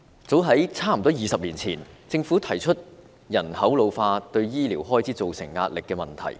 早在大約20年前，政府提出了人口老化對醫療開支造成壓力的問題。